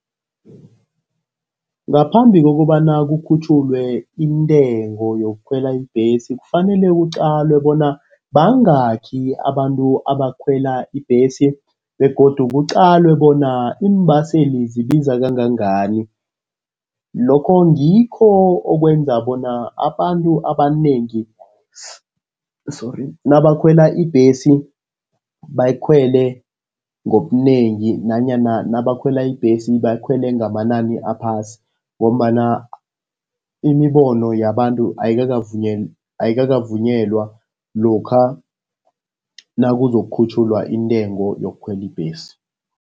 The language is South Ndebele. Ngaphambi kokobana kukhutjhulwe intengo yokukhwela ibhesi kufanele kuqalwe bona bangakhi abantu abakhwela ibhesi, begodu kuqalwe bona iimbaseli zibiza kangangani. Lokho ngikho okwenza bona abantu abanengi, sorry, nabakhwela ibhesi bayikhwele ngobunengi nanyana nabakhwela ibhesi bakhwele ngamanani aphasi, ngombana imibono yabantu ayikakavunyelwa lokha nakuzokukhutjhulwa intengo yokukhwela ibhesi.